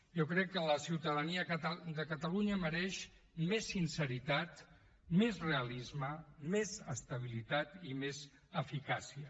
jo crec que la ciutadania de catalunya mereix més sinceritat més realisme més estabilitat i més eficàcia